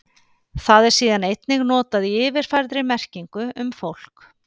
Það er síðan einnig notað í yfirfærðri merkingu um fólk.